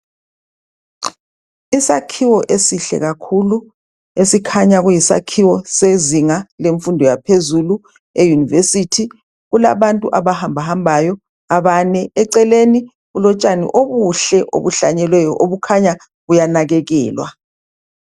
Isakhiwo esihle kakhulu esikhanya kuyisakhiwo sezinga lemfundo yaphezulu eyunivesithi. Kulabantu abahamba hambayo abane eceleni kulotshani obuhle obuhlanyeliweyo okukhanya buyanakekelwa.